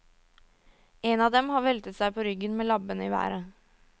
En av dem har veltet seg på ryggen med labbene i været.